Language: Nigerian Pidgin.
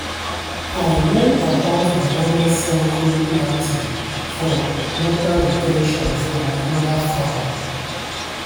i learn about banana circle planting for water re ten tion from another farmer.